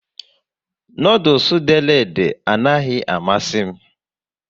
Noodules dere ede a naghị amasị m